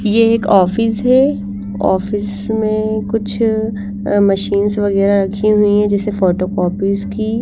ये एक ऑफिस हैं ऑफिस में कुछ मशीनस वगैरह रखी हुई हैं जैसे फोटोकॉपीज की--